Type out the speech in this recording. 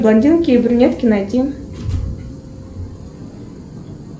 блондинки и брюнетки найти